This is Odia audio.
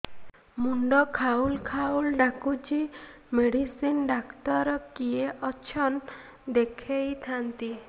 ମୁଣ୍ଡ ଖାଉଲ୍ ଖାଉଲ୍ ଡାକୁଚି ମେଡିସିନ ଡାକ୍ତର କିଏ ଅଛନ୍ ଦେଖେଇ ଥାନ୍ତି